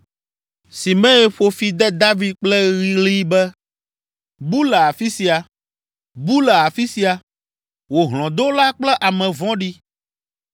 Simei ƒo fi de David kple ɣli be, “Bu le afi sia, bu le afi sia, wò hlɔ̃dola kple ame vɔ̃ɖi!